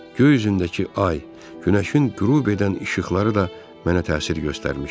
Göy üzündəki ay, günəşin qürub edən işıqları da mənə təsir göstərmişdi.